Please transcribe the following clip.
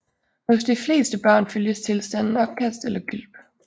Hos de fleste børn følges tilstanden opkast eller gylp